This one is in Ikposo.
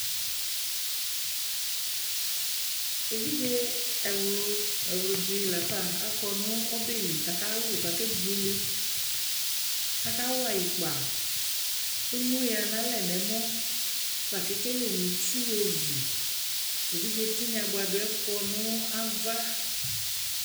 Eviɖʒe ɛwlu, ɛwludi lafa akɔ nu ɔbɛli kakalu kakebuele kakawa ikpa emuuya nalɛ nɔmɔ Lakekele muitsju ovi eviɖʒe tinya buaduɛ kɔ nu ava